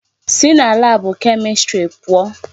Si na laabụ Kemistri pụọ!